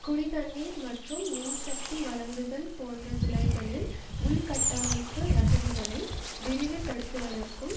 குடிதண்ணீர் மற்றும் மின்சக்தி வழங்குதல் போன்ற துறைகளில் உள்கட்டமைப்பு வசதிகளை விரிவுபடுத்துவதற்கும்